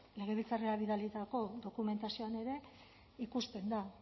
legebiltzarrera bidalitako dokumentazioan ere ikusten da